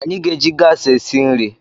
Anyị ga-eji gas esi nri